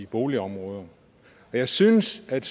boligområder jeg synes at